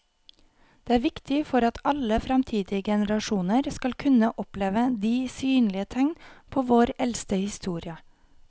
Det er viktig for at alle fremtidige generasjoner skal kunne oppleve de synlige tegn på vår eldste historie.